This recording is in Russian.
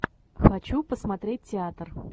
хочу посмотреть театр